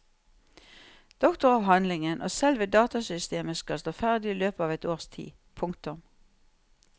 Doktoravhandlingen og selve datasystemet skal stå ferdig i løpet av et års tid. punktum